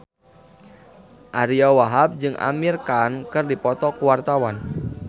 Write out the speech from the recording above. Ariyo Wahab jeung Amir Khan keur dipoto ku wartawan